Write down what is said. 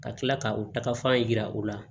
Ka tila ka o takafan yira u la